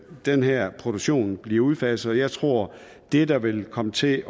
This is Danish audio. den her produktion blive udfaset og jeg tror at det der vil komme til